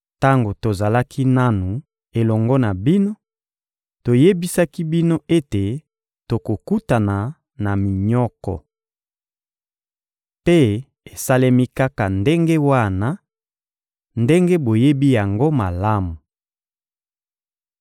Tango tozalaki nanu elongo na bino, toyebisaki bino ete tokokutana na minyoko. Mpe esalemi kaka ndenge wana, ndenge boyebi yango malamu.